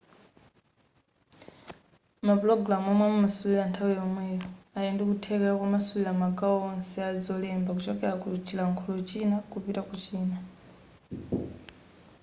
mapulogamu omwe amamasulira nthawi yomweyo ali ndi kuthekera komasulira magawo onse a zolemba kuchokera ku chilankhulo china kupita ku china